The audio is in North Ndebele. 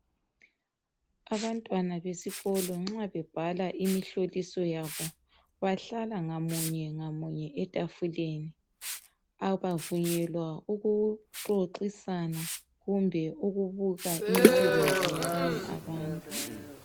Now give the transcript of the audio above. Abantwana besikolo nxa bebhala imihloliso yabo, bahlala ngamunye ngamunye etafuleni. Abavunyelwa ukuxoxisana kumbe ukubuka imisebenzi yabanye abantu.